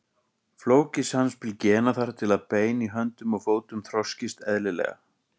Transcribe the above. Flókið samspil gena þarf til að bein í höndum og fótum þroskist eðlilega.